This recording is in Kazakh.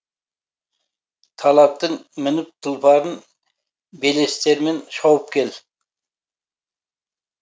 талаптың мініп тұлпарын белестермен шауып кел